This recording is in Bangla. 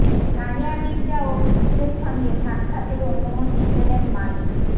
সানিয়া মির্জা ও পুত্রের সঙ্গে সাক্ষাতের অনুমতি পেলেন মালিক